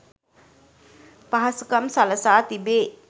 පහසුකම් සළසා තිබේ.